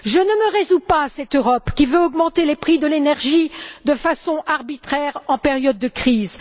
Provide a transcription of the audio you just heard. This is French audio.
Je ne me résous pas à cette Europe qui veut augmenter les prix de l'énergie de façon arbitraire en période de crise.